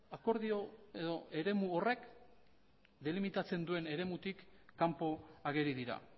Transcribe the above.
akordio edo eremu horrek delimitatzen duen eremutik kanpo ageri dira